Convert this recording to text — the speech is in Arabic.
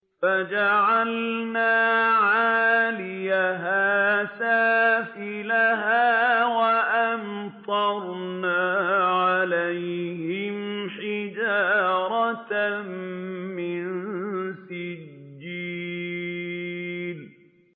فَجَعَلْنَا عَالِيَهَا سَافِلَهَا وَأَمْطَرْنَا عَلَيْهِمْ حِجَارَةً مِّن سِجِّيلٍ